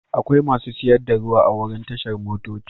Akwai masu siyar da ruwa a wurin tashar motoci.